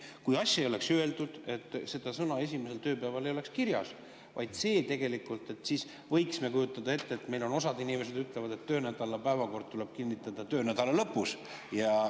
Kui asja ei oleks öeldud, kui seda "esimesel tööpäeval" ei oleks kirjas, siis võiks kujutada ette, et osa inimesi ütlevad, et töönädala päevakord tuleb kinnitada töönädala lõpus.